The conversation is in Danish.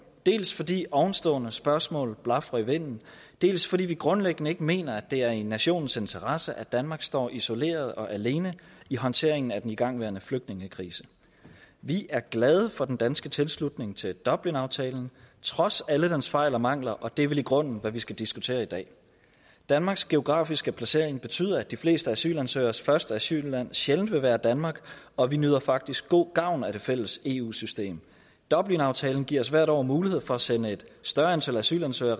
dels fordi ovenstående spørgsmål blafrer i vinden dels fordi vi grundlæggende ikke mener det er i nationens interesse at danmark står isoleret og alene i håndteringen af den igangværende flygtningekrise vi er glade for den danske tilslutning til dublinaftalen trods alle dens fejl og mangler og det er vel i grunden hvad man skal diskutere i dag danmarks geografiske placering betyder at de fleste asylansøgeres første asylland sjældent vil være danmark og vi nyder faktisk god gavn af det fælles eu system dublinaftalen giver os hvert år mulighed for at sende et større antal asylansøgere